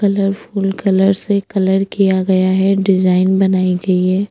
Colourful colour से colour किया गया है डिज़ाइन बनाई गयी है।